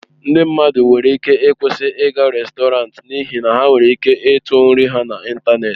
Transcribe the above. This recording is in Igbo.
Ndị mmadụ nwere ike ịkwụsị ịga rèstọrantị n'ihi na ha nwere ike ịtụ nri ha n'ịntanetị.